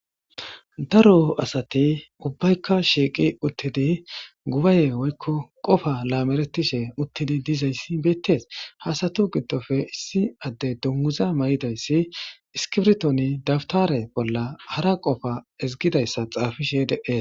daro asati ubbaykka shiiqi uttidi gubaaye woykko qofa laameretishe uttidi dizayssi beettees ha asatu giddofe issi adde dunguza mayidayssi iskibrtoni dabtare bolla hara qofa ezgidayssa xaafishe de'ees